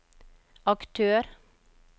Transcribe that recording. aktør